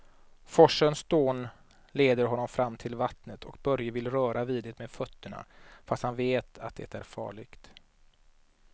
Forsens dån leder honom fram till vattnet och Börje vill röra vid det med fötterna, fast han vet att det är farligt.